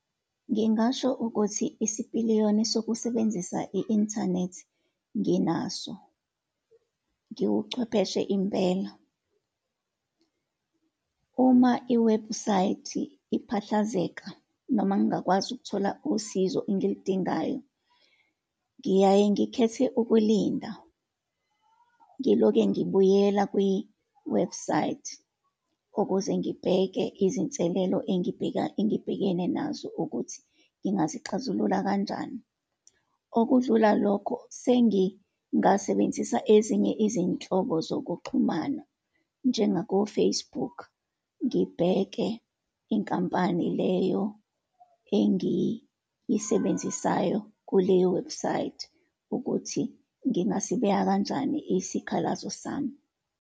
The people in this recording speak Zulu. Ngingasho ukuthi isipiliyoni sokusebenzisa i-inthanethi nginaso, ngiwuchwepheshe impela. Uma iwebhusayithi iphahlazeka, noma ngingakwazi ukuthola usizo engiludingayo, ngiyaye ngikhethe ukulinda, ngiloke ngibuyela kwiwebhusayithi, ukuze ngibheke izinselelo engibhekene nazo, ukuthi ngingazixazulula kanjani. Okudlula lokho, sengingasebenzisa ezinye izinhlobo zokuxhumana njengako-Facebook, ngibheke inkampani leyo engiyisebenzisayo kuleyowebhusayithi ukuthi ngingasibeka kanjani isikhalazo sami.